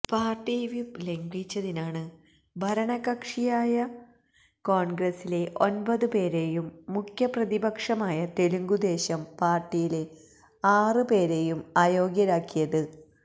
party whip ലംഘിച്ചതിനാണ് ഭരണകക്ഷിയായ കോണ്ഗ്രസിലെ ഒന്പത് പേരെയും മുഖ്യ പ്രതിപക്ഷമായ തെലുങ്കുദേശം പാര്ട്ടിയിലെ ആറ് പേരെയും അയോഗ്യരാക്കിയത്